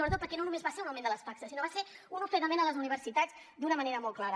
sobretot perquè no només va ser un augment de les taxes sinó que va ser un ofegament a les universitats d’una manera molt clara